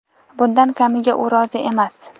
Bundan kamiga u rozi emas.